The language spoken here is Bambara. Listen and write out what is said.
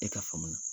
E ka faamu na